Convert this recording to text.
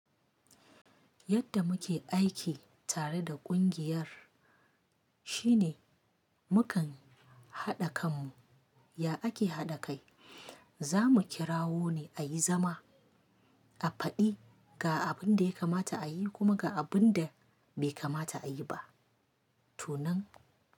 Yadda muke aiki tare da ƙungiyar shine mukan haɗa kanmu, ya ake haɗa kai? Za mu kirawo ne a yi zama, a faɗi ga abin da ya kamata a yi kuma ga abin da bai kamata a yi ba. To nan.